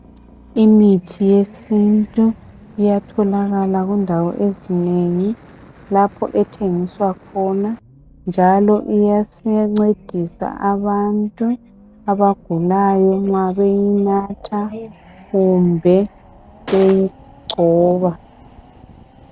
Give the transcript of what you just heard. Imithi yesintu iyatholakala kundawo ezinengi lapho ethengiswa khona njalo iyasincedisa abantu abagulayo nxa beyinatha kumbe beyigcoba.